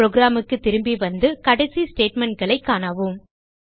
programக்கு திரும்பி வந்து கடைசி statementகளைக் காணவும்